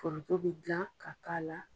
Foroto bɛ gilan ka k'a la.